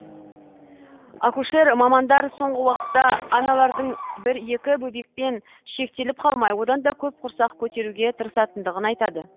акушер мамандар соңғы уақытта аналардың бір екі бөбекпен шектеліп қалмай одан да көп құрсақ көтеруге тырысатындығын айтады